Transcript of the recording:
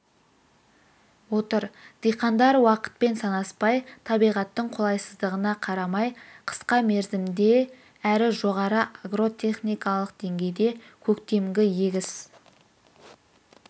отыр диқандар уақытпен санаспай табиғаттың қолайсыздығына қарамай қысқа мерзімде рі жоғары агротехникалық деңгейде көктемгі егіс